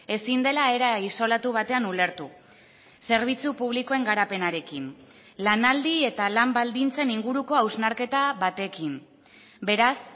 ezin dela era isolatu batean ulertu zerbitzu publikoen garapenarekin lanaldi eta lan baldintzen inguruko hausnarketa batekin beraz